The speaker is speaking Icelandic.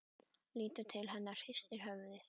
Lítur til hennar og hristir höfuðið.